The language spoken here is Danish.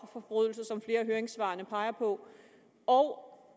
forbrydelser som flere af høringssvarene peger på og